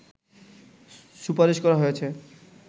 সুপারিশ করা হয়েছে